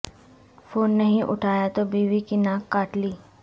phone نہیں اٹھایا تو بیوی کی ناک کاٹ لی